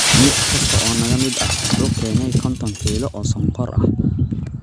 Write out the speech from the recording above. Mid kasta oo naga mid ah wuxuu keenay 50 kiilo oo sonkor ah.